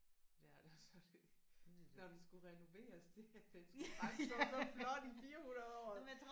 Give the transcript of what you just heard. Ja eller også så er det. Når den skulle renoveres det at den skulle bare stå så flot i 400 året